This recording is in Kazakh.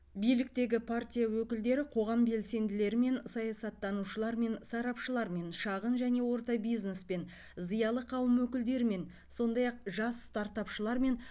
биліктегі партия өкілдері қоғам белсенділерімен саясаттанушылармен сарапшылармен шағын және орта бизнес пен зиялы қауым өкілдерімен сондай ақ жас стартапшылармен